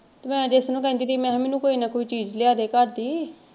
ਮੈਂ ਜੈਸੇ ਨੂੰ ਕਹਿੰਦੀ ਰਹੀ ਮੈਂ ਕਿਹਾ ਮੈਨੂੰ ਕੋਈ ਨਾ ਕੋਈ ਚੀਜ਼ ਲਿਆ ਦੇ ਘਰ ਦੀ।